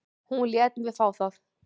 Hún lét mig fá það.